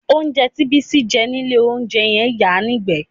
Oúnjẹ tí Bísí jẹ nílé olóúnjẹ ń yàá nígbẹ̀ẹ́